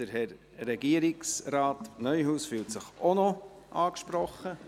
Ach so, Regierungsrat Neuhaus fühlt sich auch noch angesprochen.